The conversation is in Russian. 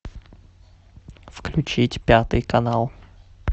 включить пятый канал